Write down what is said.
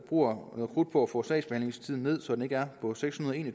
bruger noget krudt på at få sagsbehandlingstiden sat ned så den ikke er på seks hundrede og en